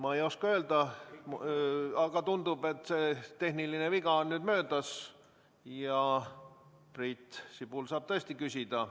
Ma ei oska öelda, aga tundub, et see tehniline viga on nüüd möödas ja Priit Sibul saab tõesti küsida.